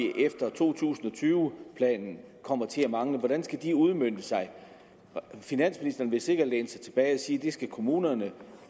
efter to tusind og tyve planen kommer til at mangle hvordan skal de udmøntes finansministeren vil sikkert læne sig tilbage og sige at det skal kommunerne